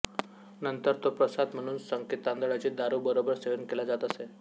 नंतर तो प्रसाद म्हणून साकेतांदळाची दारू बरोबर सेवन केला जात असे